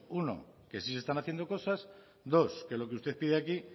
uno que sí se están haciendo cosas dos que lo que usted pide aquí